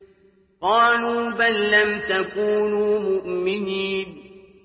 قَالُوا بَل لَّمْ تَكُونُوا مُؤْمِنِينَ